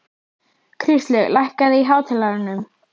Kristlaug, lækkaðu í hátalaranum.